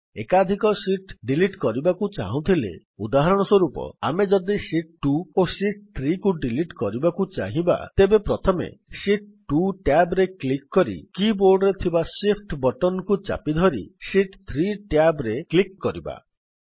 ଏକାଧିକ sheet delete କରିବାକୁ ଚାହୁଁଥିଲେ ଉଦାହରଣସ୍ୱରୂପ ଆମେ ଯଦି ଶୀତ୍ 2 ଓ ଶୀତ୍ 3 କୁ ଡିଲିଟ୍ କରିବାକୁ ଚାହିଁବା ତେବେ ପ୍ରଥମେ ଶୀତ୍ 2 ଟ୍ୟାବ୍ ରେ କ୍ଲିକ୍ କରି କି ବୋର୍ଡ ରେ ଥିବା Shift ବଟନ୍ କୁ ଚାପି ଧରି ଶୀତ୍ 3 ଟ୍ୟାବ୍ ରେ କ୍ଲିକ୍ କରନ୍ତୁ